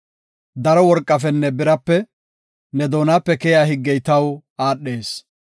Daro worqafenne birape, ne doonape keyiya higgey taw aadhees.